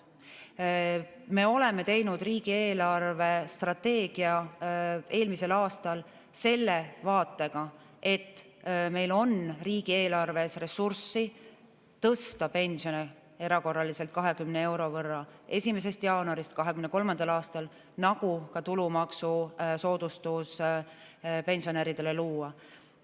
Me oleme teinud riigi eelarvestrateegia eelmisel aastal selle vaatega, et meil on riigieelarves ressurssi tõsta pensione erakorraliselt 20 euro võrra 1. jaanuarist 23. aastal, samuti luua pensionäridele tulumaksusoodustus.